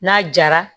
N'a jara